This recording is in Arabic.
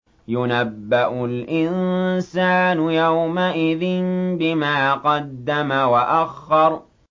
يُنَبَّأُ الْإِنسَانُ يَوْمَئِذٍ بِمَا قَدَّمَ وَأَخَّرَ